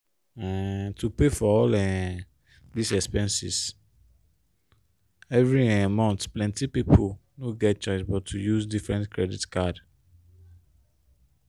um to pay for all um dis expenses every um month plenti pipo no get chioce but to use different credit card.